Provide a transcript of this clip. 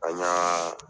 An y'a